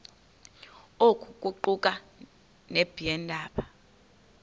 oku kuquka nabeendaba